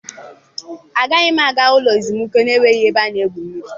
Agaghị m aga ụlọ ezumike na-enweghị ebe a na-egwu mmiri.